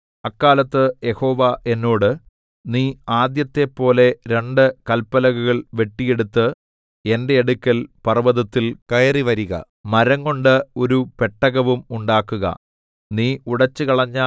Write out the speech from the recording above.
അക്കാലത്ത് യഹോവ എന്നോട് നീ ആദ്യത്തെപ്പോലെ രണ്ട് കല്പലകകൾ വെട്ടിയെടുത്ത് എന്റെ അടുക്കൽ പർവ്വതത്തിൽ കയറിവരുക മരംകൊണ്ട് ഒരു പെട്ടകവും ഉണ്ടാക്കുക